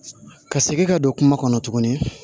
Ka segin ka don kuma kɔnɔ tuguni